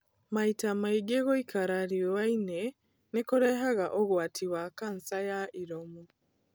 Maita maĩngĩ gũikara rĩuanĩ nĩ kurehaga ũgwati wa cancer ya iromo.